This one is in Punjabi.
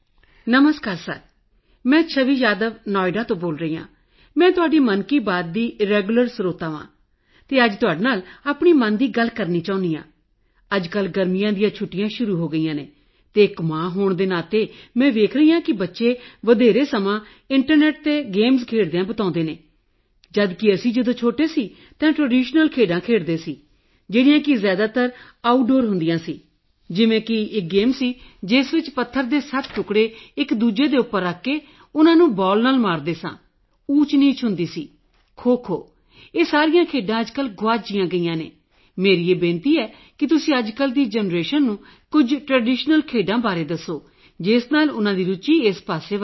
ਨਮਸਕਾਰ ਸਰ ਮੈਂ ਛਵੀ ਯਾਦਵ ਨੌਇਡਾ ਤੋਂ ਬੋਲ ਰਹੀ ਹਾਂ ਮੈਂ ਤੁਹਾਡੀ ਮਨ ਕੀ ਬਾਤ ਦੀ ਰੈਗੂਲਰ ਲਿਸਟਨਰ ਹਾਂ ਅਤੇ ਅੱਜ ਤੁਹਾਡੇ ਨਾਲ ਆਪਣੀ ਮਨ ਦੀ ਗੱਲ ਕਰਨਾ ਚਾਹੁੰਦੀ ਹਾਂ ਅੱਜਕੱਲ੍ਹ ਗਰਮੀਆਂ ਦੀਆਂ ਛੁੱਟੀਆਂ ਸ਼ੁਰੂ ਹੋ ਗਈਆਂ ਹਨ ਅਤੇ ਇੱਕ ਮਾਂ ਹੋਣ ਦੇ ਨਾਤੇ ਮੈਂ ਵੇਖ ਰਹੀ ਹਾਂ ਕਿ ਬੱਚੇ ਜ਼ਿਆਦਾਤਰ ਸਮਾਂ ਇੰਟਰਨੈੱਟ ਗੇਮਜ਼ ਖੇਡਦਿਆਂ ਬਿਤਾਉਂਦੇ ਹਨ ਜਦ ਕਿ ਅਸੀਂ ਜਦੋਂ ਛੋਟੇ ਸਾਂ ਤਾਂ ਅਸੀਂ ਟ੍ਰੈਡੀਸ਼ਨਲ ਗੇਮਜ਼ ਜੋ ਕਿ ਜ਼ਿਆਦਾਤਰ ਆਊਟਡੋਰ ਗੇਮਜ਼ ਹੁੰਦੀਆਂ ਸਨ ਉਹ ਖੇਡਦੇ ਸਾਂ ਜਿਵੇਂ ਕਿ ਇੱਕ ਗੇਮ ਸੀ ਜਿਸ ਵਿੱਚ 7 ਪੱਥਰ ਦੇ ਟੁਕੜੇ ਇੱਕਦੂਜੇ ਉੱਪਰ ਰੱਖ ਕੇ ਉਨ੍ਹਾਂ ਨੂੰ ਬਾਲ ਨਾਲ ਮਾਰਦੇ ਸਾਂ ਅਤੇ ਊਚਨੀਚ ਹੁੰਦੀ ਸੀ ਖੋਖੋ ਇਹ ਸਾਰੀਆਂ ਗੇਮਾਂ ਅੱਜਕੱਲ੍ਹ ਗੁਆਚ ਜਿਹੀਆਂ ਗਈਆਂ ਨੇ ਮੇਰੀ ਇਹ ਬੇਨਤੀ ਹੈ ਕਿ ਤੁਸੀਂ ਅੱਜਕੱਲ੍ਹ ਦੀ ਜਨਰੇਸ਼ਨ ਨੂੰ ਕੁਝ ਟ੍ਰੈਡੀਸ਼ਨਲ ਗੇਮਜ਼ ਬਾਰੇ ਦੱਸੋ ਜਿਸ ਨਾਲ ਉਨ੍ਹਾਂ ਦੀ ਰੁਚੀ ਇਸ ਪਾਸੇ ਵਧੇ